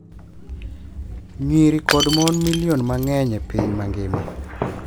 Nyiri kod mon milion mang’eny e piny mangima